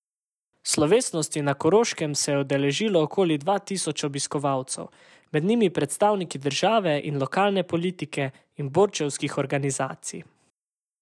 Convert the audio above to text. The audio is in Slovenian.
Slovesnosti na Koroškem se je udeležilo okoli dva tisoč obiskovalcev, med njimi predstavniki državne in lokalne politike in borčevskih organizacij.